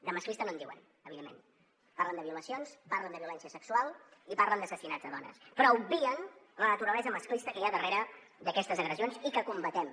de masclista no en diuen evidentment parlen de violacions parlen de violència sexual i parlen d’assassinats de dones però obvien la naturalesa masclista que hi ha darrere d’aquestes agressions i que combatem